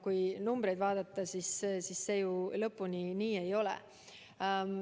Kui numbreid vaadata, siis see ju lõpuni nii ei ole.